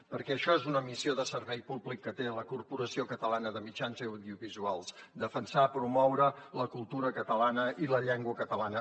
perquè això és una missió de servei públic que té la corporació catalana de mitjans audiovisuals defensar promoure la cultura catalana i la llengua catalana